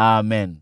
na Amen.